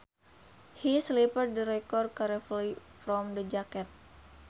He slipped the record carefully from the jacket